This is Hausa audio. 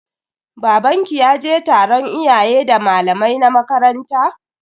Babanki ya je taron iyayen da malamai na makaranta?